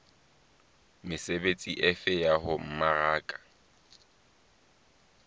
mesebetsi efe ya ho mmaraka